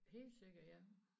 Helt sikkert ja